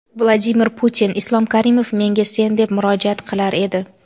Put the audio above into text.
Vladimir Putin: Islom Karimov menga "sen" deb murojaat qilar edi.